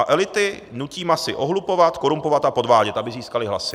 A elity nutí masy ohlupovat, korumpovat a podvádět, aby získaly hlasy.